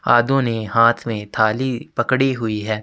आदुनि हाथ में थाली पकड़ी हुई है।